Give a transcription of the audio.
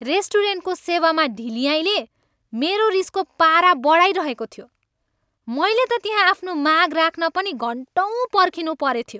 रेस्टुरेन्टको सेवामा ढिल्याइँले मेरो रिसको पारा बढाइरहेको थियो। मैले त त्यहाँ आफ्नो माग राख्न पनि घन्टौँ पर्खिनु परेथ्यो।